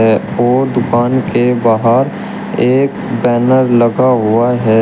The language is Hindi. ओ दुकान के बाहर एक बैनर लगा हुआ है।